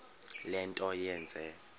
le nto yenze